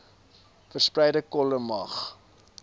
verspreide kolle mag